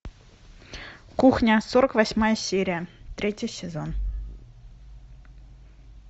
кухня сорок восьмая серия третий сезон